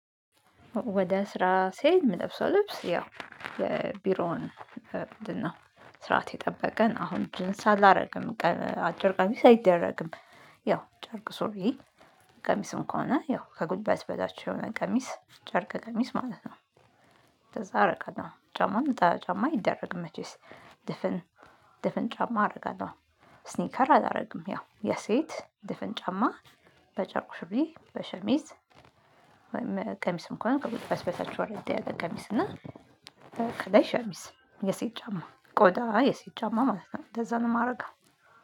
ወደ ስራ ስሄድ የምለብሰው ልብስ ያው የቢሮውን ስርዓት የጠበቀ አሁን ጅንስ አላደርግም። አጭር ቀሚስ አይደረግም። ያው ጨርቅ ሱሪ። ቀሚስም ከሆነ ያው ከጉልበት በታች የሆነ ቀሚስ ጨርቅ ቀሚስ ማለት ነው። እንደዛ አረጋለሁ ጫማ ነጠላ ጫማ አይደረግም። መቼስ ድፍን ድፍን ጫማ አደርጋለሁ። ስኒከር አላደርግም ያው የሴት ድፍን ጫማ በጨርቁ ሱሪ በሸሚዝ። ወይም ቀሚስ እንኳን ከጉልበት በታች ወረድ ያለ ቀሚስ እና። ከላይ ሸሚዝ የሴት ጫማ ቆዳ አይ የሴት ጫማ ማለት ነው እንደዛ ነው የማደርገው